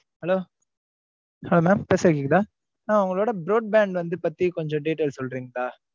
Hello, hello mam பேசறது கேக்குதா? ஆஹ் உங்களோட, broad band வந்து பத்தி, கொஞ்சம் details சொல்றீங்களா.